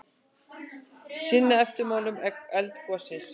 Sinna eftirmálum eldgossins